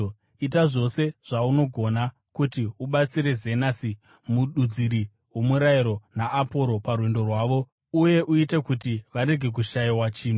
Ita zvose zvaungagona kuti ubatsire Zenasi mududziri womurayiro naAporosi parwendo rwavo uye uite kuti varege kushayiwa chinhu.